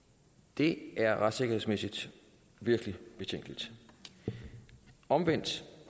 det er retssikkerhedsmæssigt virkelig betænkeligt omvendt